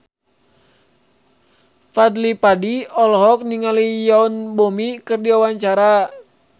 Fadly Padi olohok ningali Yoon Bomi keur diwawancara